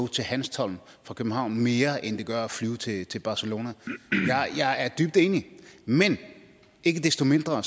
til hanstholm fra københavn koster mere end det gør at flyve til til barcelona jeg er dybt enig men ikke desto mindre